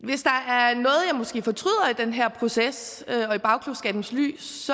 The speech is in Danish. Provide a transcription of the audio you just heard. den her proces og i bagklogskabens lys